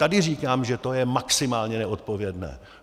Tady říkám, že to je maximálně neodpovědné!